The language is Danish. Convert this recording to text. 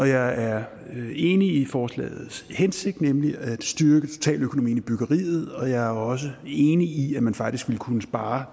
jeg er enig i forslagets hensigt nemlig at styrke totaløkonomien i byggeriet og jeg er også enig i at man faktisk vil kunne spare